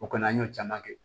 O kɔni an y'o caman kɛ